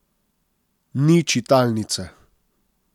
Ni čitalnice.